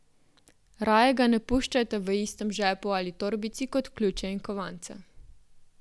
Raje ga ne puščajte v istem žepu ali torbici kot ključe in kovance.